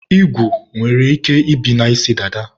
igwu nwere ike ibi na isi dada